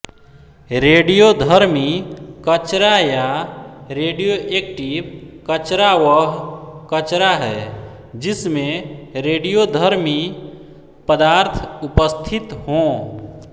रडियोधर्मी कचरा या रेडियोऐक्टिव कचरा वह कचरा है जिसमें रेडियोधर्मी पदार्थ उपस्थित हों